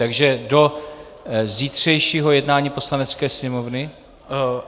Takže do zítřejšího jednání Poslanecké sněmovny?